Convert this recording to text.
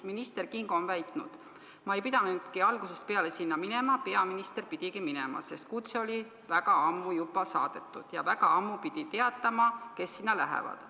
Minister Kingo on väitnud: "Ma ei pidanudki algusest peale sinna minema, peaminister pidigi minema, sest kutse oli väga ammu juba saadetud ja väga ammu pidi teatama, kes sinna lähevad.